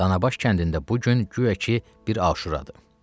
Danabaş kəndində bu gün guya ki, bir Aşuradır.